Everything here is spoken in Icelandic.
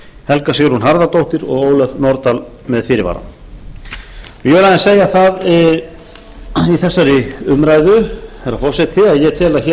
helga sigrún harðardóttir og ólöf nordal með fyrirvara ég vil aðeins segja það í þessari umræðu herra forseti að ég tel að hér